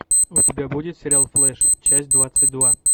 у тебя будет сериал флэш часть двадцать два